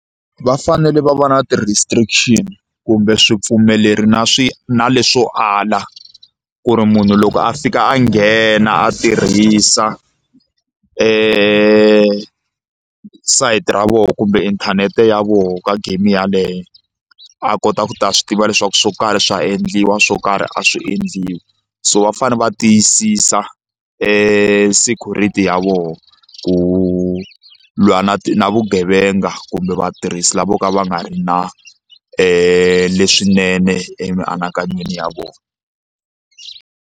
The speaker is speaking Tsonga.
Va fanele va va na ti-restriction kumbe swi pfumeleri na swi na leswo ala ku ri munhu loko a fika a nghena a tirhisa sayiti ra vona kumbe inthanete ya vona ka game yaleyo a kota ku ta swi tiva leswaku swo karhi swa endliwa swo karhi a swi endliwi so va fanele va tiyisisa security ya vona ku lwa na na vugevenga kumbe vatirhisi lava vo ka va nga ri na leswinene emianakanyweni ya vona.